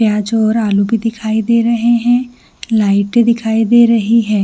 यहाँ जो आलू भी दिखाई दे रहे है लाइटे दिखाई दे रही है।